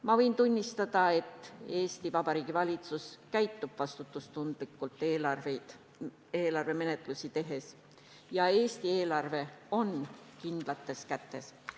Ma võin kinnitada, et Eesti Vabariigi valitsus käitub eelarvemenetluses vastutustundlikult ja Eesti eelarve on kindlates kätes.